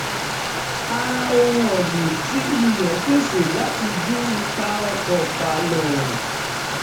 a ra ohun ọ̀gbìn tí ilé pèsè láti dín ipa ọkọ̀ pálọ̀